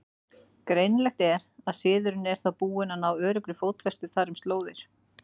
Greinilegt er, að siðurinn er þá búinn að ná öruggri fótfestu þar um slóðir.